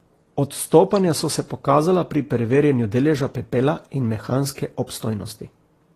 Odstopanja so se pokazala pri preverjanju deleža pepela in mehanske obstojnosti.